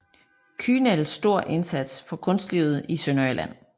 Kühnel stor indsats for kunstlivet i Sønderjylland